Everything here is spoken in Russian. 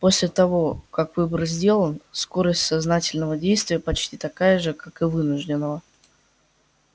после того как выбор сделан скорость сознательного действия почти такая же как и вынужденного